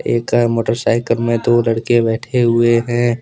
एक मोटरसाइकिल में दो लड़के बैठे हुए हैं।